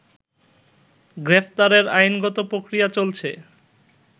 গ্রেফতারের আইনগত প্রক্রিয়া চলছে